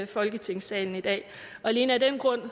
folketingssalen i dag og alene af den grund